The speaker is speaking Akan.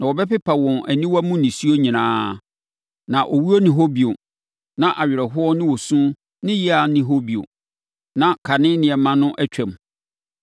Na ɔbɛpepa wɔn aniwa mu nisuo nyinaa. Na owuo nni hɔ bio, na awerɛhoɔ ne osu ne yea nni hɔ bio. Na kane nneɛma no atwam.”